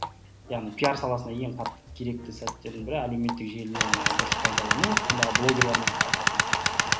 яғни пиар саласында ең қатты керекті сәттердің бір әлеуметтік желі дұрыс пайдалану ондағы блогерлермен қарым қатынас